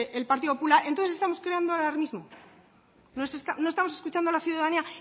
el partido popular entonces estamos creando alarmismo no estamos escuchando a la ciudadanía